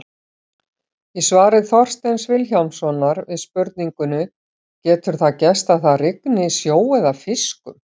Í svari Þorsteins Vilhjálmssonar við spurningunni Getur það gerst að það rigni sjó eða fiskum?